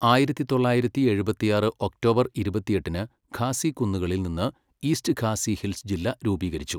ആയിരത്തി തൊള്ളായിരത്തി എഴുപത്തിയാറ് ഒക്ടോബർ ഇരുപത്തിയെട്ടിന് ഖാസി കുന്നുകളിൽ നിന്ന് ഈസ്റ്റ് ഖാസി ഹിൽസ് ജില്ല രൂപീകരിച്ചു.